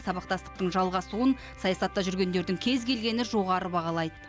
сабақтастықтың жалғасуын саясатта жүргендердің кез келгені жоғары бағалайды